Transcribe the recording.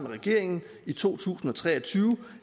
regeringen i to tusind og tre og tyve